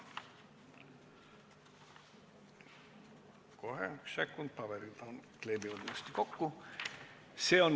Kohe, üks sekund, paberid kleepuvad kokku.